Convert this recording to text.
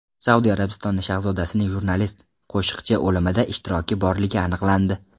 Saudiya Arabistoni shahzodasining jurnalist Qoshiqchi o‘limida ishtiroki borligi aniqlandi.